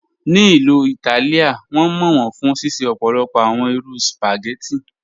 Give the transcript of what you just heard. Ní Ilú Ítálìá, wọn mọ wọn fún ṣíṣẹ̀ ọ̀pọ̀lọpọ̀ awọn irú spaghetti.